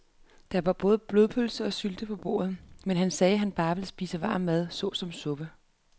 Der var både blodpølse og sylte på bordet, men han sagde, at han bare ville spise varm mad såsom suppe.